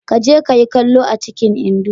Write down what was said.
Ka je ka yi kallo a cikin indo